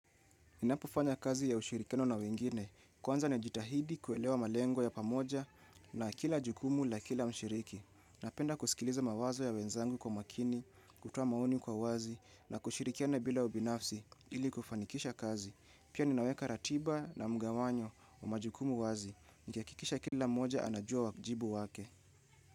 Ninapo fanya kazi ya ushirikiano na wengine, kwanza najitahidi kuelewa malengo ya pamoja na kila jukumu la kila mshiriki. Napenda kusikiliza mawazo ya wenzangu kwa makini, kutoa maoni kwa wazi na kushirikiana bila ubinafsi ili kufanikisha kazi. Pia ninaweka ratiba na mgawanyo wa majukumu wazi. Nikiakikisha kila moja anajua wajibu wake.